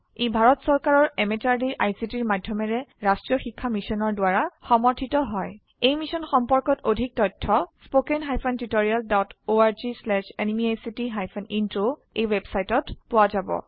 ই ভাৰত চৰকাৰৰ MHRDৰ ICTৰ মাধয়মেৰে ৰাস্ত্ৰীয় শিক্ষা মিছনৰ দ্ৱাৰা সমৰ্থিত হয় ই মিশ্যন সম্পৰ্কত অধিক তথ্য spoken hyphen tutorial dot org slash এনএমইআইচিত হাইফেন ইন্ট্ৰ ৱেবচাইটত পোৱা যাব